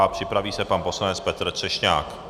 A připraví se pan poslanec Petr Třešňák.